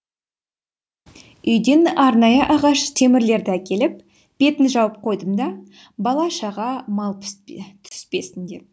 үйден арнайы ағаш темірлерді әкеліп бетін жауып қойдым бала шаға мал түспесін деп